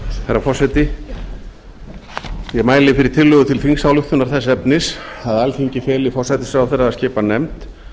herra forseti ég mæli fyrir tillögu til þingsályktunar þess efnis að alþingi feli forsætisráðherra að skipa nefnd